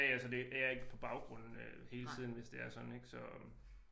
Ja ja så det er ikke på baggrunden hele tiden hvis det er sådan ik så